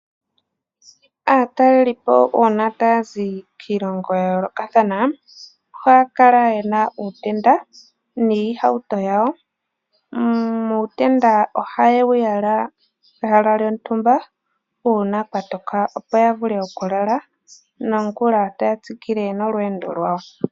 Aatalelipo uuna taya zi kiilongo ya yoolokathana ohaya kala yena uutenda niihawuto yawo. Uutenda ohayewu yala pehala lyontumba uuna kwatoka opo yavule okulala nongula taya tsikile nolwendo lwawo.